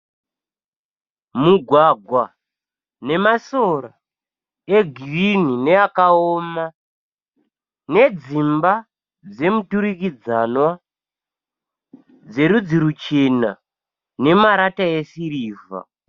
Mugwagwa nemasora egirinhi neakaoma nedzimba dzemuturikidzanwa dzerudzi ruchena nemarata esirivha.